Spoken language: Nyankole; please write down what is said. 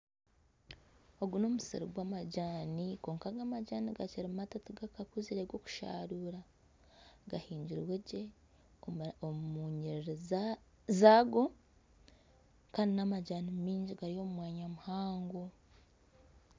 Ogu n'omusiri gw'amajaani kwonka aga amajaani gakiri mato tigakakuzire gokusharurwa gahingirwe gye omu nyirirri zaago kandi n'amajani maingi gari omu mwanya muhango.